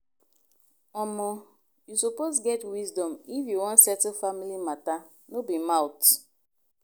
omo you suppose get wisdom if you wan settle family mata no be mouth.